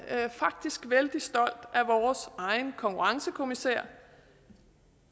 faktisk vældig stolt af vores egen konkurrencekommissær